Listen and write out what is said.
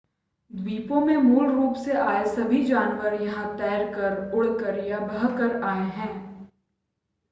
द्वीपों में मूल रूप से आए सभी जानवर यहां तैरकर उड़कर या बहकर आए हैं